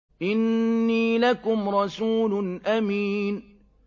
إِنِّي لَكُمْ رَسُولٌ أَمِينٌ